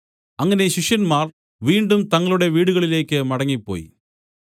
അങ്ങനെ ശിഷ്യന്മാർ വീണ്ടും തങ്ങളുടെ വീടുകളിലേക്ക് മടങ്ങിപ്പോയി